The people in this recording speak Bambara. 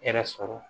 Hɛrɛ sɔrɔ